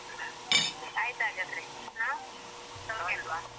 ಹಾ ಆಯ್ತು ಹಾಗಾದ್ರೆ ಆ ಸೌಖ್ಯ ಅಲ್ವಾ.